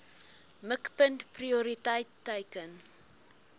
mikpunt prioriteit teiken